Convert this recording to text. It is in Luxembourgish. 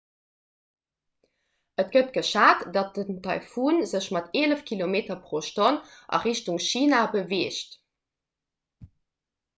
et gëtt geschat datt den taifun sech mat eelef km/h a richtung china beweegt